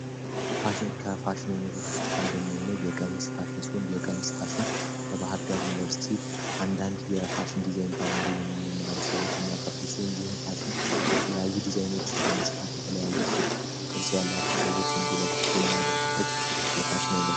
ፋሽን ከፋሽን ዓይነቶች ውስጥ አንደኛ የሆነው የቀሚስ ፋሽን ሲሆን የቀሚስ ፋሽን በባህር ደር ዩኒቨርሲቲ አንዳንድ የፋሽን ዲዛይን ተማሪ የሚማሩ ሰዎች የሚያቀርቡ ሲሆን ይህም ፋሽን የተለያዩ ዲዛይኖችን በመስፋት የተለያዩ ሼፕ ፣ቅርጽ ያላቸው ሰዎች እንዲ ለብሶት የሚያደርጉበት የፋሽን አይነት